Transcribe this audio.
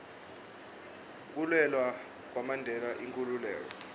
kulwela kwamandela inkhululeko